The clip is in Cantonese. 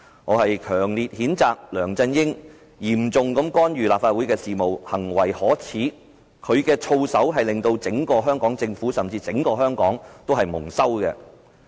我強烈譴責梁振英嚴重干預立法會事務，行為可耻，他的操守令整個香港政府，甚至整個香港蒙羞。